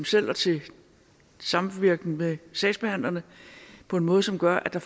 selv og til samvirken med sagsbehandlerne på en måde som gør at der